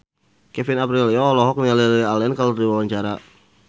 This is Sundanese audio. Kevin Aprilio olohok ningali Lily Allen keur diwawancara